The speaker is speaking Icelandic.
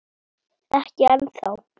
Ekki ennþá.